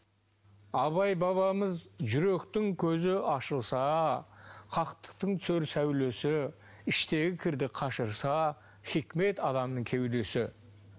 абай бабамыз жүректің көзі ашылса хақтықтың түсер сәулесі іштегі кірді қашырса хикмет адамның кеудесі